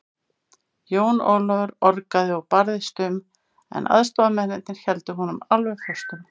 Jón Ólafur orgaði og barðist um, en aðstoðarmennirnir héldu honum alveg föstum.